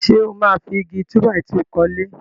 Ṣé ó máa fi Igi túbàìtuù kọ́lé?